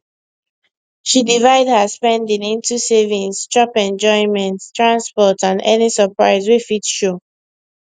she divide her spending into savings chop enjoyment transport and any surprise wey fit show